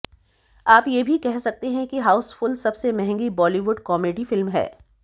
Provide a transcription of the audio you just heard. आप ये भी कह सकते हैं कि हाउसफुल सबसे महंगी बॅालीवुड कॅामेडी फिल्म है